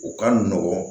U ka nɔgɔn